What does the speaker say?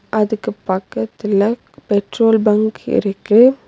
அதுக்கு பக்கத்துல petrol bunk இருக்கு.